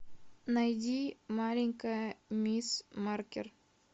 найди маленькая мисс маркер